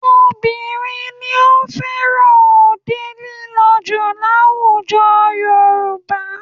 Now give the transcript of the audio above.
Obìnrin ni ó fẹ́ràn òde lílọ jù ní àwùjọ Yorùbá